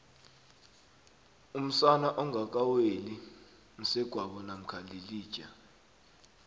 umsana ongaka weli msegwabo mamkha yilija